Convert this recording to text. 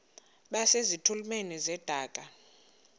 base zitulmeni zedaka